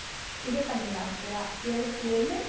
இது பண்ணிடலாம் okay வா இருபத்தி ஏழு